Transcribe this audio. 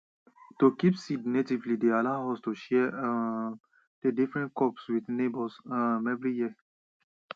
to kip seed natively deyallow us to share um dey different crop wit neighbours um every year